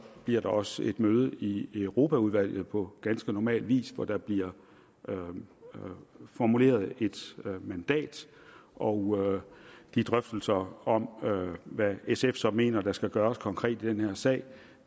bliver der også et møde i europaudvalget på ganske normal vis hvor der bliver formuleret et mandat og de drøftelser om hvad sf så mener der skal gøres konkret i den her sag